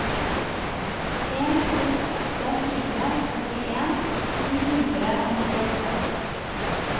en to åtte fire førtien ni hundre og nittiåtte